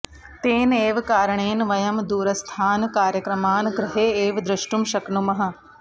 तेन एव कारणेन वयं दूरस्थान् कार्यक्रमान् गृहे एव दृष्टुं शक्नुमः